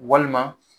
Walima